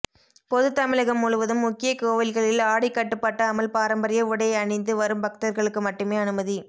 பொது தமிழகம் முழுவதும் முக்கிய கோவில்களில் ஆடை கட்டுப்பாடு அமல் பாரம்பரிய உடை அணிந்து வரும் பக்தர்களுக்கு மட்டுமே அனுமதி